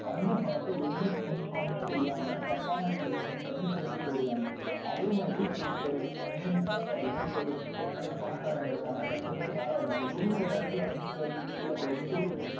வந்த பணத்தை எங்க spend பண்ணணும்ன்னு தெரியாம தப்பான இடத்தில spend பண்ணி திருப்பி போயிடுவாங்க. அதே மாதிரி இதுக்கு நேர்மாறா பாத்தீங்கன்னா இப்ப ஒரு ஒரு நல்ல பணக்காரங்க இருக்காங்க. கஷ்டப்பட்டு மேல வந்தாங்க. திடீர்ன்னு ஒரு இடத்தில வந்து சறுக்கி கீழே போயிட்டு திருப்பி